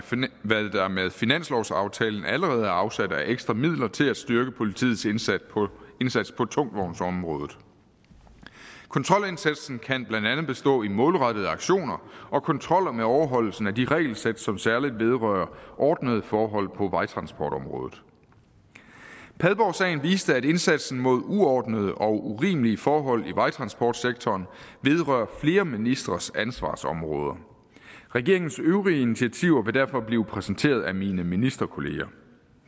finanslovsaftalen allerede er afsat af ekstra midler til at styrke politiets indsats på tungtvognsområdet kontrolindsatsen kan blandt andet bestå i målrettede aktioner og kontroller med overholdelsen af de regelsæt som særlig vedrører ordnede forhold på vejtransportområdet padborgsagen viste at indsatsen mod uordnede og urimelige forhold i vejtransportsektoren vedrører flere ministres ansvarsområder regeringens øvrige initiativer vil derfor blive præsenteret af mine ministerkolleger